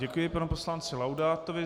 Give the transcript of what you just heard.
Děkuji panu poslanci Laudátovi.